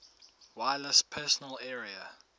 wireless personal area